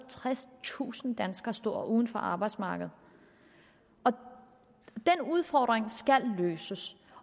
og tredstusind danskere står uden for arbejdsmarkedet den udfordring skal løses